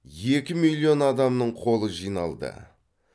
екі миллион адамның қолы жиналды